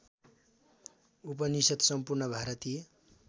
उपनिषद् सम्पूर्ण भारतीय